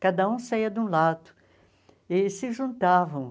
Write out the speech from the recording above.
Cada um saía de um lado e se juntavam